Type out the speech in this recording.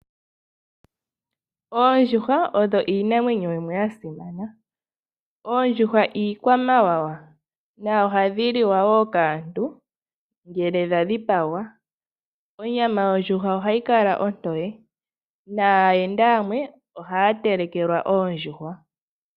Oondjuhwa odho iinamwenyo yimwe ya simana. Oondjuhwa iikwamawawa nohadhi liwa wo kaantu ngele dha dhipagwa. Onyama yondjuhwa ohayi kala ontoye naayenda yamwe ohaya telekelwa oondjuhwa.